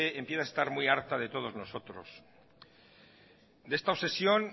empieza a estar muy harta de todos nosotros de esta obsesión